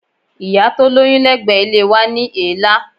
Ìyá tó lóyún lẹ́gbẹ̀ẹ́ ilé wa ní èélá.